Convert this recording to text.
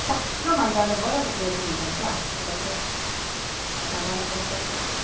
Ah, não mandada embora porque eu tinha um contrato, se não que acabaram com o contrato.